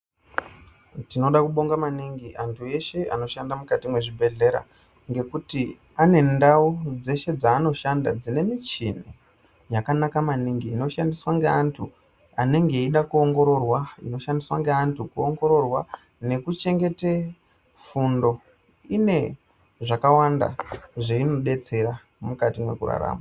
Tinoda kubonga maningi antu eshe anoshanda mukati mwezvibhehlera ngekuti ane ndau dzeshe dzanoshanda dzine michini yakanaka maningi inoshandiswa ngeantu anenge eida kuongororwa , inoshandiswa ngeantu kuongororwa nekuchengete fundo. Ine zvakawanda zveinodetsera mukati mwekurarama.